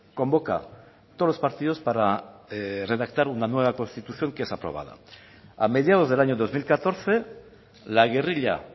convoca todos los partidos para redactar una nueva constitución que es aprobada a mediados del año dos mil catorce la guerrilla